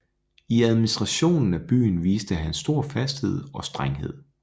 I administrationen af byen viste han stor fasthed og strenghed